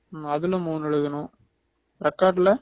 அதுல மூணு எழுதணும் record ல